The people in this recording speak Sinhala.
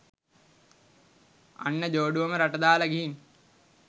අන්න ජෝඩුවම රට දාලා ගිහින්